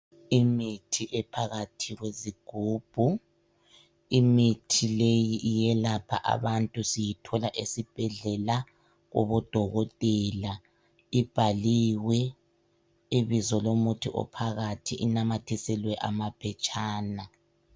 Imithi ephakathi kwezigubhu, imithi leyi iyelapha abantu siyithola ezibhedlela kubo dokotela. Ibhaliwe ibizo lomuthi ophakathi, inamathiselwe amaphetshana